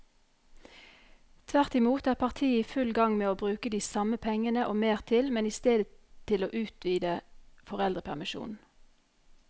Tvert imot er partiet i full gang med å bruke de samme pengene og mer til, men i stedet til å utvide foreldrepermisjonen.